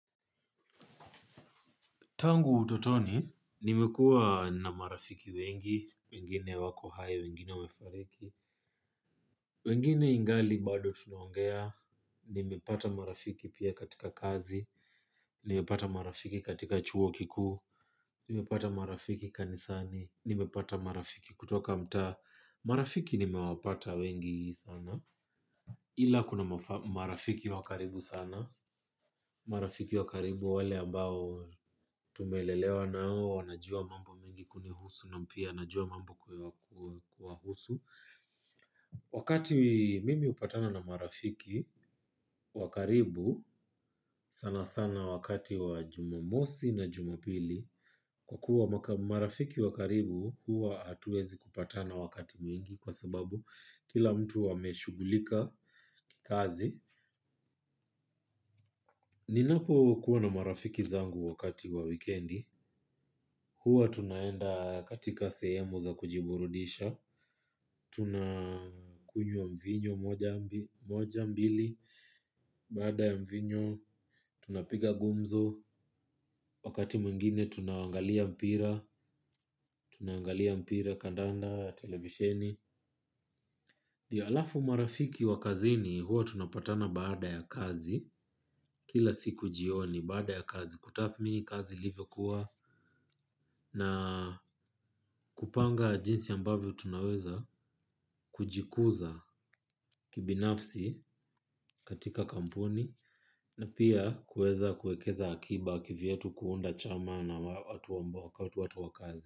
Tangu utotoni nimekua na marafiki wengi, wengine wako hai wengine wamefariki wengine ingali bado tunaongea, nimepata marafiki pia katika kazi, nimepata marafiki katika chuo kikuu, nimepata marafiki kanisani, nimepata marafiki kutoka mtaa, marafiki nimewapata wengi sana. Ila kuna marafiki wa karibu sana. Marafiki wa karibu wale ambao tumelelewa nao wanajua mambo mengi kuhusu na pia najua mambo kuwhusu. Wakati mimi upatana na marafiki wakaribu sana sana wakati wa jumamosi na jumapili. Kwa kuwa marafiki wa karibu huwa hatuezi kupatana wakati mwingi. Kwa sababu kila mtu ameshugulika kikazi. Ninapo kuwa na marafiki zangu wakati wa wikendi. Hua tunaenda katika sehemu za kujiburudisha. Tunakunywa mvinyo moja mbili, baada ya mvinyo tunapiga gumzo, wakati mwingine tunaangalia mpira. Tunaangalia mpira kandanda televisheni, alafu marafiki wa kazini hua tunapatana baada ya kazi, kila siku jioni baada ya kazi kutathmini kazi lilivyokuwa na kupanga jinsi ambavyo tunaweza kujikuza kibinafsi katika kampuni na pia kueza kuekeza akiba kivyetu kuunda chama na watu wakazi.